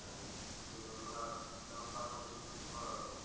সেজন্য আর তেমন পাশাপাশি কিছু করা হচ্ছে না